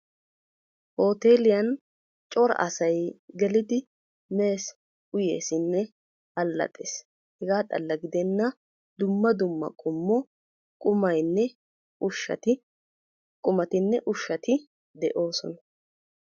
Hooteliyaan cora asay gelidi mees uyeesinne allaxxees. hegaa xalla gidenna dumma dumma qumay qumatinne ushshati de'oosona.